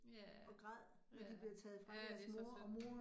Ja, ja, ja, det så synd